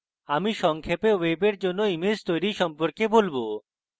আমি সংক্ষেপে ওয়েবের জন্য image তৈরী সম্পর্কে বলব